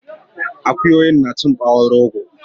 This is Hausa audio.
Akuyoyi nacin ɓawon rogo